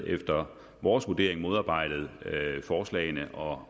efter vores vurdering modarbejdet forslagene og